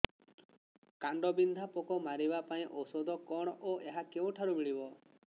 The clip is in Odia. କାଣ୍ଡବିନ୍ଧା ପୋକ ମାରିବା ପାଇଁ ଔଷଧ କଣ ଓ ଏହା କେଉଁଠାରୁ ମିଳିବ